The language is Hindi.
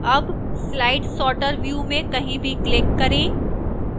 अब slide sorter view में कहीं भी click करें